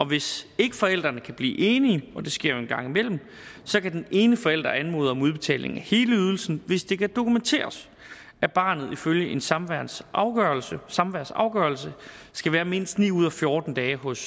hvis ikke forældrene kan blive enige og det sker jo en gang imellem så kan den ene forælder anmode om udbetaling af hele ydelsen hvis det kan dokumenteres at barnet ifølge en samværsafgørelse samværsafgørelse skal være mindst ni ud af fjorten dage hos